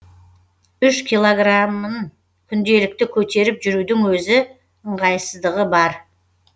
үш килограмын күнделікті көтеріп жүрудің өзі ыңғайсыздығы бар